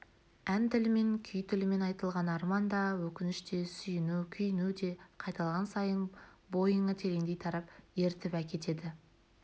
ән тілімен күй тілімен айтылған арман да өкініш те сүйіну-күйіну де қайталаған сайын бойыңа тереңдей тарап ерітіп әкетеді